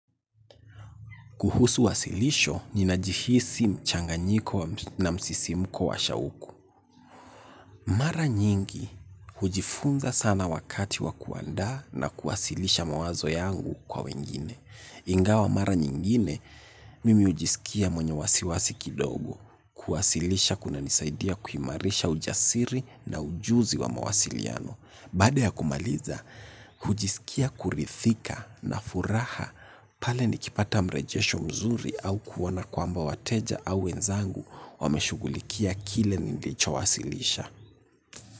Kuhusu wasilisho, ninajihisi mchanganyiko na msisimuko wa shauku. Mara nyingi, hujifunza sana wakati wa kuandaa na kuwasilisha mawazo yangu kwa wengine. Ingawa mara nyingine, mimi hujisikia mwenye wasiwasi kidogo. Kuwasilisha kuna nisaidia kuimarisha ujasiri na ujuzi wa mawasiliano. Baada ya kumaliza, hujisikia kuridhika na furaha. Pale nikipata mrejesho mzuri au kuona kwamba wateja au wenzangu wameshugulikia kile nilicho wasilisha.